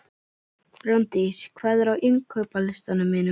Brandís, hvað er á innkaupalistanum mínum?